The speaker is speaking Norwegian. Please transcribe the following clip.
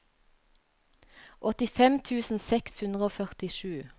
åttifem tusen seks hundre og førtisju